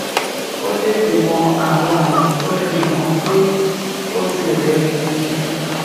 ó tètè mọ àwọn àmì tó fi hàn pé ó ti rè é gidigidi